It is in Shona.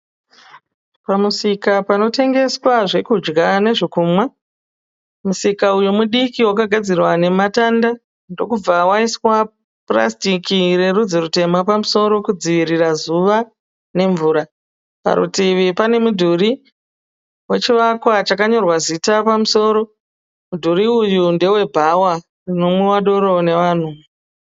Pamusika panotengeswa zvekudya nezvekumwa. Musika uyu mudiki wakagadzirwa nematanda ndobva paiswa purasitiki rerudzi rutema kudzivirira zuva uye mvura. Necheparitivi pane chivakwa chakanyorwa zita pamusoro. Mudhuri uyu ndewebhawa.